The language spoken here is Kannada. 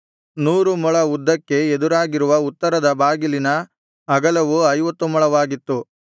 ನೂರು ಮೊಳ ಉದ್ದಕ್ಕೆ ಎದುರಾಗಿರುವ ಉತ್ತರದ ಬಾಗಿಲಿನ ಅಗಲವು ಐವತ್ತು ಮೊಳವಾಗಿತ್ತು